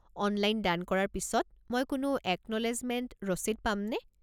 Online দান কৰাৰ পিছত মই কোনো একন'লেজমেণ্ট ৰচিদ পামনে?